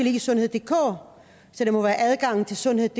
i sundheddk så det må være adgangen til sundheddk